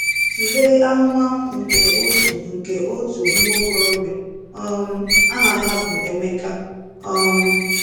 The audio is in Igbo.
Tụlee ahụmahụ nke otu nke otu nwa okorobịa um aha ya bụ Ebuka um.